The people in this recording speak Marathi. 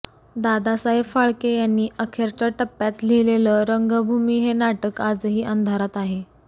दादासाहेब फाळके यांनी अखेरच्या टप्प्यात लिहिलेलं रंगभूमी हे नाटक आजही अंधारात आहे